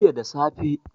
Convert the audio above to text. jiya da safe